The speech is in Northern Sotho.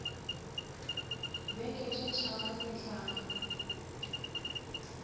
beke tše tharo re tla